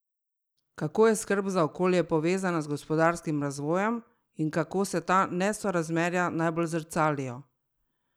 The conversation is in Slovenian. Kako je skrb za okolje povezana z gospodarskim razvojem in kako se ta nesorazmerja najbolj zrcalijo?